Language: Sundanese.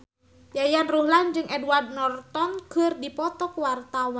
Yayan Ruhlan jeung Edward Norton keur dipoto ku wartawan